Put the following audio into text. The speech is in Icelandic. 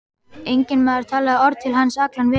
Enginn maður talaði orð til hans allan veturinn.